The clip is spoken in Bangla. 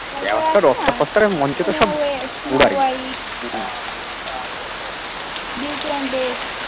beauty and beast